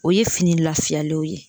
O ye fini lafiyalenw ye